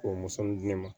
K'o musonin di ne ma